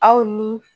Aw ni